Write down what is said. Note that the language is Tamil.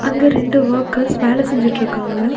அங்க ரெண்டு ஒர்க்கர்ஸ் வேல செஞ்சுட்ருக்காங்க.